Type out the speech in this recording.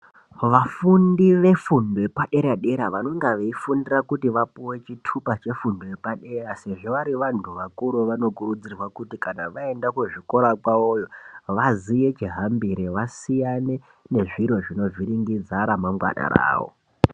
Vafundi vedundo yepadera dera vanenga veifundira kuti vapiwe chitupa chefundo yepadera sezvo vari vandu vakuru vanokurudzirwa kuti kana vaenda kuzvikora kwavoyo vaziye chihambire vasiyane nezviro zvinovhiringidza ramangwani ravo.